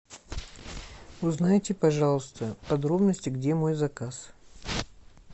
узнайте пожалуйста подробности где мой заказ